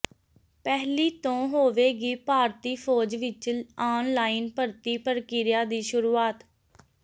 ਪਹਿਲੀ ਤੋਂ ਹੋਵੇਗੀ ਭਾਰਤੀ ਫ਼ੌਜ ਵਿਚ ਆਨਲਾਈਨ ਭਰਤੀ ਪ੍ਰਕਿਰਿਆ ਦੀ ਸ਼ੁਰੂਆਤ